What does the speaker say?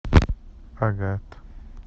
агат